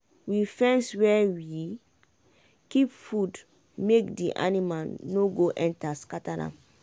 we fence where we kip food make d anima no go enta scatter am